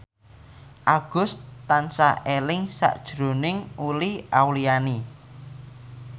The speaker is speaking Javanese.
Agus tansah eling sakjroning Uli Auliani